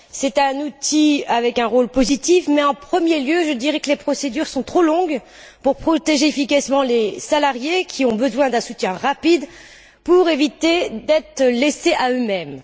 Cet outil a un rôle positif mais, en premier lieu, je dirai que les procédures sont trop longues pour protéger efficacement les salariés qui ont besoin d'un soutien rapide pour ne pas être livrés à eux mêmes.